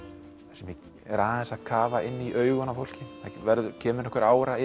þar sem ég er aðeins að kafa inn í augun á fólki það kemur einhver ára